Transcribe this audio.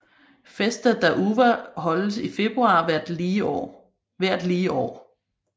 Festa da Uva holdes i februar hvert lige år